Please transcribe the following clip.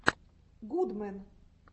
гудмэн